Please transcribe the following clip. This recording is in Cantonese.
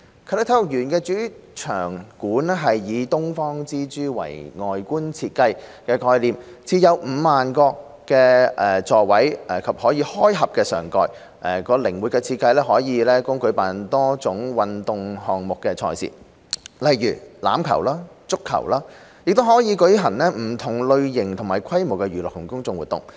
啟德體育園的主場館以"東方之珠"為外觀設計概念，設有 50,000 個座位及可開合上蓋，其靈活的設計可供舉辦多種運動項目的賽事，如欖球和足球，也可舉行不同類型及規模的娛樂及公眾活動。